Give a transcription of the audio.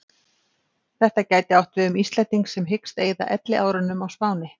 Þetta gæti átt við um Íslending sem hyggst eyða elliárunum á Spáni.